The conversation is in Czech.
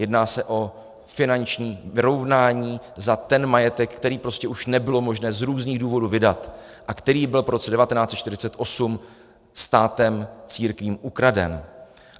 Jedná se o finanční vyrovnání za ten majetek, který prostě už nebylo možné z různých důvodů vydat a který byl po roce 1948 státem církvím ukraden.